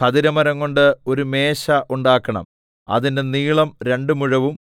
ഖദിരമരംകൊണ്ട് ഒരു മേശ ഉണ്ടാക്കണം അതിന്റെ നീളം രണ്ട് മുഴവും